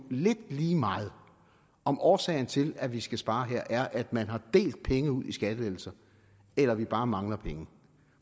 lidt lige meget om årsagen til at vi skal spare her er at man har delt penge ud i skattelettelser eller at vi bare mangler penge